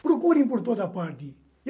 Procurem por toda parte.